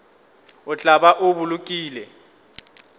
o tla ba o bolokile